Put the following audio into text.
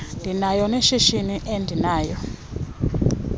ndinawo neshishini ndinalo